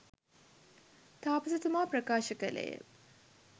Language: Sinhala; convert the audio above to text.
තාපසතුමා ප්‍රකාශ කළේ ය.